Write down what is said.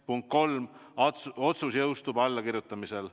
Punkt kolm: otsus jõustub allakirjutamisel.